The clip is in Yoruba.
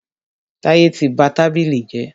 Táyẹ́ tí ba tábìlì jẹ́.